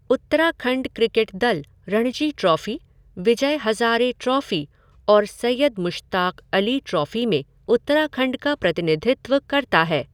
Uttarakhand cricket दल Ranji trophy, Vijay Hazare trophy और Syed Mushtaq Ali trophy में उत्तराखंड का प्रतिनिधित्व करता है।